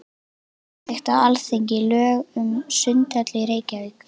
Samþykkt á Alþingi lög um sundhöll í Reykjavík.